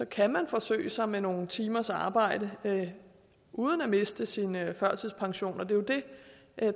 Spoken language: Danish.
kan man forsøge sig med nogle timers arbejde uden at miste sin førtidspension og det er jo det